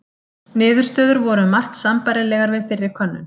Niðurstöður voru um margt sambærilegar við fyrri könnun.